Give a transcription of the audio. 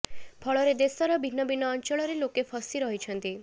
ଫଳରେ ଦେଶର ଭିନ୍ନ ଭିନ୍ନ ଅଞ୍ଚଳରେ ଲୋକେ ଫସି ରହିଛନ୍ତି